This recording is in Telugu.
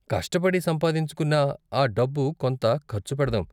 కష్టపడి సంపాదించుకున్న ఆ డబ్బు కొంత ఖర్చు పెడదాం.